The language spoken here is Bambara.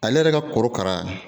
Ale yɛrɛ ka korokara